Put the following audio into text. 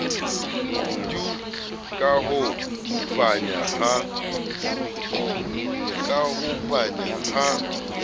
tu ka ho panya ha